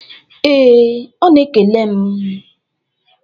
Ee, ọ na-ekele m.